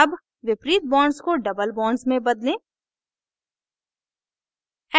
double विपरीत bonds को double bonds में बदलें